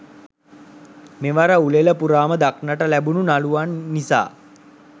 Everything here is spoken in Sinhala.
මෙවර උළෙල පුරාම දක්නට ලැබුණු නළුවන් නිසා